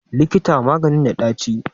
Likita maganin da ɗaci?